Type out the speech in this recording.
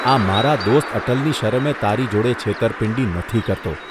આ મારા દોસ્ત અટલની શરમે તારી જોડે છેતરપિંડી નથી કરતો